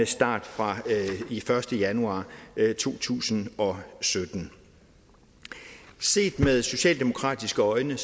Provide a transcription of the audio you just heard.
start fra første januar to tusind og sytten set med socialdemokratiske øjne